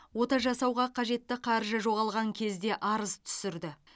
ота жасауға қажетті қаржы жоғалған кезде арыз түсірді